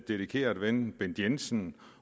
dedikerede ven bent jensen